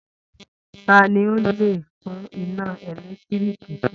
Ta ni ó le tún iná ẹ̀lẹ́tíríkì ṣe?